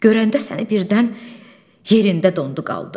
Görəndə səni birdən yerində dondu, qaldı.